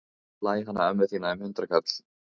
Ég slæ hana ömmu þína um hundraðkall.